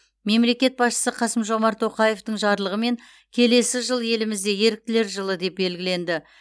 мемлекет басшысы қасым жомарт тоқаевтың жарлығымен келесі жыл елімізде еріктілер жылы деп белгіленді